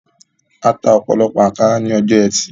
Ata ọ̀pọ̀lọpọ̀ ànkárá ní ọjọ́ ẹtì